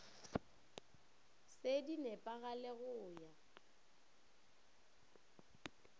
se di nepagale go ya